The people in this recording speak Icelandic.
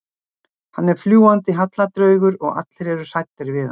Hann er fljúgandi hallardraugur og allir eru hræddir við hann.